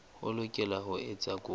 o lokela ho etsa kopo